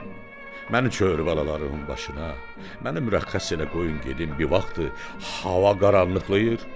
Xan, məni tövbə balalarımın başına, məni mürəxxəs elə qoyun gedim bir vaxtı hava qaranlıqlayır.